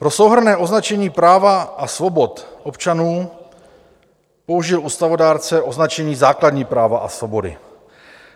Pro souhrnné označení práv a svobod občanů použil ústavodárce označení základní práva a svobody.